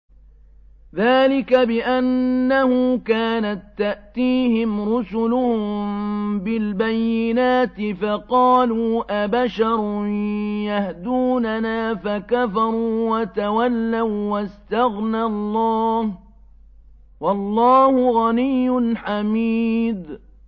ذَٰلِكَ بِأَنَّهُ كَانَت تَّأْتِيهِمْ رُسُلُهُم بِالْبَيِّنَاتِ فَقَالُوا أَبَشَرٌ يَهْدُونَنَا فَكَفَرُوا وَتَوَلَّوا ۚ وَّاسْتَغْنَى اللَّهُ ۚ وَاللَّهُ غَنِيٌّ حَمِيدٌ